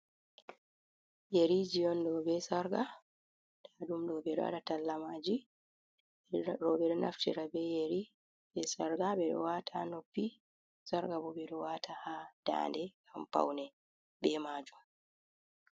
Yeriiji on ɗoo bee "sarƙa", ndaaɗum ɗoo ɓe ɗo waɗa talla maaji. Rowɓe ɗo naftira bee yeri bee "sarƙa" ɓe ɗi waata ha noppi, "sarƙa" bo ɓe ɗo waata haa daande ngam pawne bee maajum.